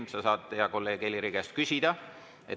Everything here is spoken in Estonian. Sa saad hea kolleegi Heliri käest küsida.